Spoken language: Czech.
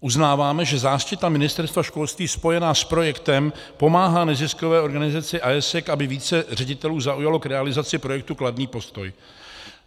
Uznáváme, že záštita Ministerstva školství spojená s projektem pomáhá neziskové organizaci AIESEC, aby více ředitelů zaujalo k realizaci projektu kladný postoj.